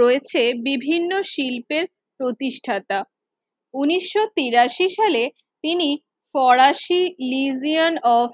রয়েছে বিভিন্ন শিল্পের প্রতিষ্ঠাতা উনিশশো তিরাশি সালে তিনি ফরাসি Lisian of